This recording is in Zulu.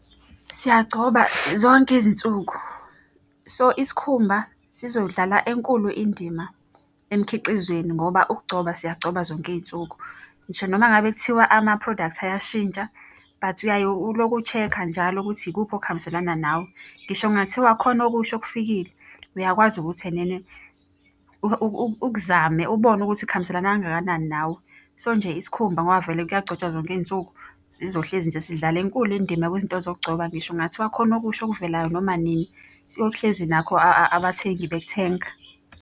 Siyagcoba zonke izinsuku. So, isikhumba sizodlala enkulu indima emkhiqizweni ngoba ukugcoba siyagcoba zonke iy'nsuku. Ngisho noma ngabe kuthiwa ama-products ayashintsha, but uyaye ulokhu ushekha njalo ukuthi ikuphi okuhambiselana nawe. Ngisho kungathiwa khona okusho okufikile, uyakwazi ukuthi ene ene ukuzame ubone ukuthi kuhambiselana kangakanani nawe. So, nje isikhumba ngoba vele kuyagcotshwa zonke iy'nsuku, sizohlezi nje sidlala enkulu indima kwizinto zokugcoba. Ngisho kungathiwa khona okusha okuvelayo noma nini, siyohlezi nakho abathengi bekuthenga.